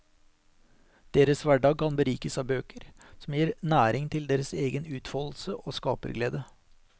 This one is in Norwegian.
Deres hverdag kan berikes av bøker, som gir næring til deres egen utfoldelse og skaperglede.